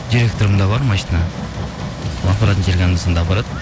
директорымда бар машине сол апаратын жерге анда санда апарады